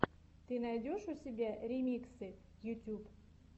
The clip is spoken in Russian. ты найдешь у себя ремиксы ютьюб